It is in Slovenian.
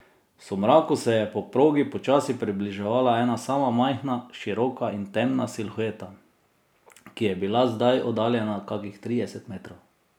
V somraku se je po progi počasi približevala ena sama majhna, široka in temna silhueta, ki je bila zdaj oddaljena kakih trideset metrov.